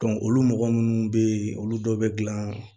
olu mɔgɔ minnu bɛ yen olu dɔ bɛ dilan